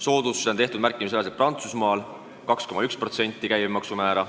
Soodustusi on tehtud märkimisväärselt Prantsusmaal, kus see käibemaksu määr on 2,1%.